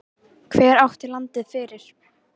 Hver átti landið fyrir?